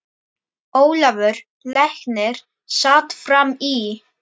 Ólafur læknir sat fram í.